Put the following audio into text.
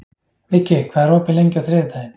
Viggi, hvað er opið lengi á þriðjudaginn?